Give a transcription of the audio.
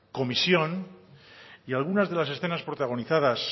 comisión y algunas de las escenas protagonizadas